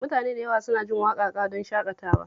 Mutane da yawa suna jin waƙaƙa don shaƙatawa